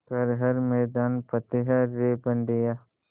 कर हर मैदान फ़तेह रे बंदेया